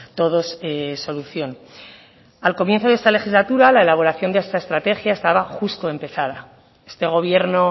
todos solución al comienzo de esta legislatura la elaboración de esta estrategia estaba justo empezada este gobierno